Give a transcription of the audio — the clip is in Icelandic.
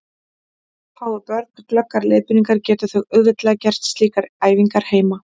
Fái börn glöggar leiðbeiningar geta þau auðveldlega gert slíkar æfingar heima.